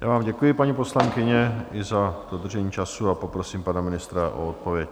Já vám děkuji, paní poslankyně, i za dodržení času a poprosím pana ministra o odpověď.